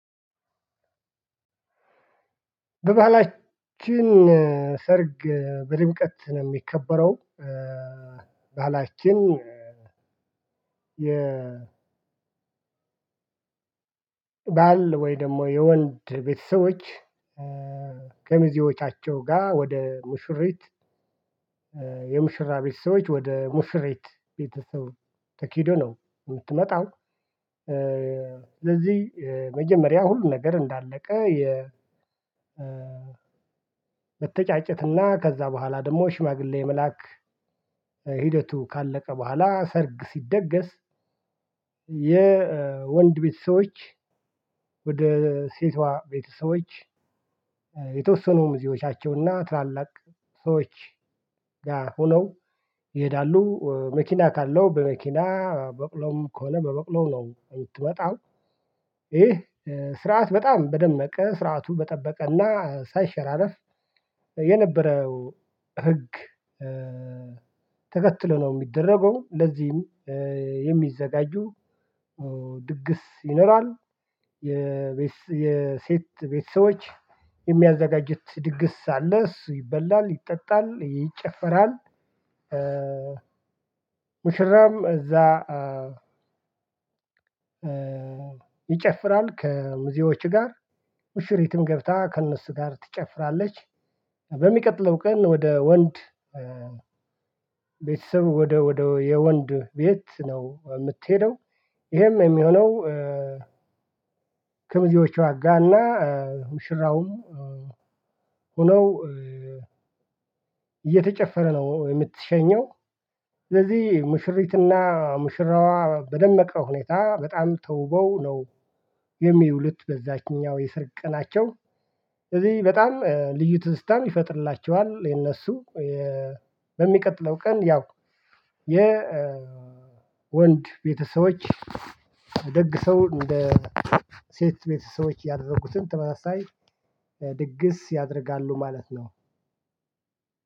በባህላችን ሰርግ በድምቀት ነው የሚከበረው። ባህላችን የ ባል ወይ ደግሞ የወንድ ቤተሰቦች ከ ሚዜዎቻቸው ጋር ወደ ሙሽሪት የሙሽራ ቤተሰቦች ወደ ሙሽሪት ቤተሰብ ተኬዶ ነው የምትመጣው። ለዚህ መጀመሪያ ሁሉ ነገር እንዳለቀ። የመተጫጨትና ከዛ በኋላ ደግሞ ሽማግሌ መላክ ሂደቱ ካለቀ በኋላ ሰርግ ሲደገስ። የወንድ ቤተሰቦች ወደ ሴቷ ቤተሰቦች የተወሰኑ ሚዚዎቻቸውና ታላላቅ ሰዎች ጋር ሆነው ይሄዳሉ መኪና ካለው በመኪና በቅሎም ከሆነ በበቅሎም ነው የምትወጣው። ይሄ ስርዓት በጣም በደመቀ ስርዓቱ በጠበቀና ሳይሸራለፍ የነበረው ህግ ተከትሎ ነው የሚደረገው። ለዚህም የሚዘጋጁ ድግስ ይኖራል። የሴት ቤተሰቦች የሚያዘጋጅት ድግስ አለ እሱ ይበላል ይጠጣል ይጨፈራል። ሙሽራም እዛ ይጨፍራል ከሚዜዎች ጋር ሙሽሪትም ገብታ ከእነሱ ጋር ትጨፍራለች። በሚቀጥለው ቀን ወደ ወንድ ቤተሰብ ወደ ወደ የወንድ ቤት ነው የምትሄደው። ይሄም የሚሆነው ከሚዜዎቿ ጋራና ሙሽራውም ሙሽራውም ሆነው እየተጨፈረ ነው የምትሸኘው። ስለዚህ ሙሽሪትና ሙሽራዋ በደመቀ ሁኔታ በጣም ተውበው ነው የሚውሉት በዛችኛው የስርግ ቀናቸው። ስለዚህ በጣም ልዩ ትዝታም ይፈጥርላቸዋል። የነሱ በሚቀጥለው ቀን ያው የወንድ ቤተሰቦች ደግሰው እንደ ሴት ቤተሰቦች ያደረጉትን ተመሳሳይ ድግስ ያደርጋሉ ማለት ነው።